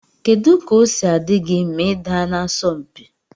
Kedu ka osi adigi ma ida na asọm mpi?